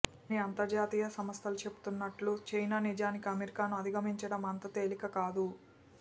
కొన్ని అంతర్జాతీయ సంస్థలు చెబుతున్నట్లు చైనా నిజానికి అమెరికాను అధిగమించటం అంత తేలిక కాదు